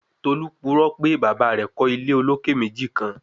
Tolu purọ pe baba rẹ kọ ile oloke meji kan